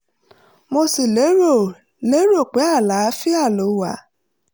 mo sì lérò lérò pé àlàáfíà ló wà